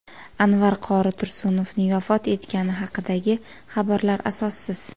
Anvar qori Tursunovning vafot etgani haqidagi xabarlar asossiz.